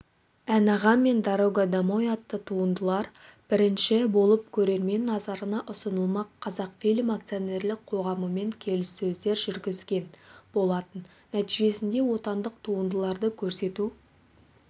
ән-аға және дорога домой атты туындылар бірінші болып көрермен назарына ұсынылмақ қазақфильм акционерлік қоғамымен келіссөздер жүргізген болатын нәтижесінде отандық туындыларды көрсету